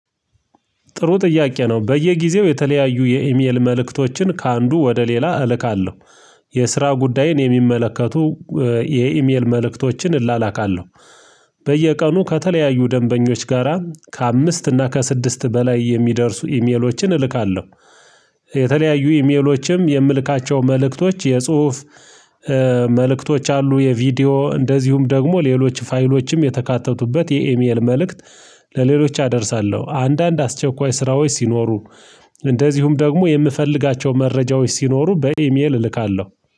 ጥሩ ጥያቄ ነው በየጊዜው የተለያዩ የኢሜል መልእክቶችን ከአንዱ ወደ ሌላ እልካለሁ። የስራ ጉዳይን የሚመለከቱ የኢሜል መልእክቶችን እላላካለሁ። በየቀኑ ከተለያዩ ደንበኞች ጋራ ከአምስት እና ከስድስት በላይ የሚደርሱ ኢሜሎችን እልካለሁ። የተለያዩ ኢሜሎችም የምልካቸው መልእክቶች የጽሁፍ መልእክቶች አሉ የቪዲዮ እንደዚሁም ደግሞ ሌሎች ፋይሎችም የተካተቱበት የኤሚኤል መልእክት ለሌሎች አደርሳለሁ። አንዳንድ አስቸኳይ ስራዎች ሲኖሩ እንደዚሁም ደግሞ የምፈልጋቸው መረጃዎች ሲኖሩ በኢሜል እልካለሁ